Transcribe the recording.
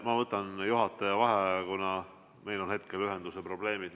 Ma võtan juhataja vaheaja, kuna meil on hetkel ühenduse probleemid.